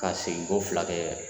K'a seginko fila kɛ